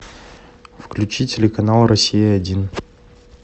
включи телеканал россия один